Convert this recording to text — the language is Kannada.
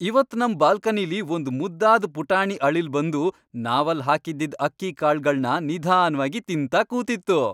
ಇವತ್ ನಮ್ ಬಾಲ್ಕನಿಲಿ ಒಂದ್ ಮುದ್ದಾದ್ ಪುಟಾಣಿ ಅಳಿಲ್ ಬಂದು ನಾವಲ್ಲ್ ಹಾಕಿದ್ದಿದ್ ಅಕ್ಕಿ ಕಾಳ್ಗಳ್ನ ನಿಧಾನ್ವಾಗಿ ತಿಂತಾ ಕೂತಿತ್ತು.